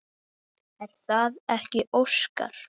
Er það ekki Óskar?